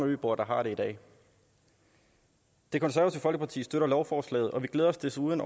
øboere der har det i dag det konservative folkeparti støtter lovforslaget og vi glæder os desuden